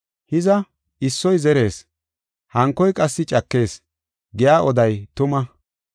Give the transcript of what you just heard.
Hiza, ‘Issoy zerees; hankoy qassi cakees’ giya oday tuma.